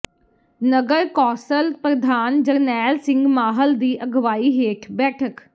ਨਗਰ council ਪ੍ਰਧਾਨ ਜਰਨੈਲ ਸਿੰਘ ਮਾਹਲ ਦੀ ਅਗਵਾਈ ਹੇਠ ਬੈਠਕ